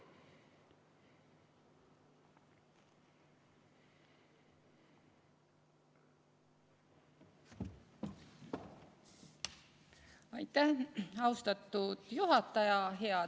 Austatud juhataja!